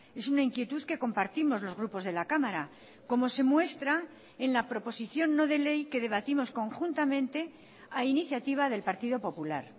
es una inquietud que compartimos los grupos de la cámara como se muestra en la proposición no de ley que debatimos conjuntamente a iniciativa del partido popular